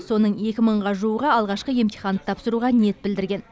соның екі мыңға жуығы алғашқы емтиханды тапсыруға ниет білдірген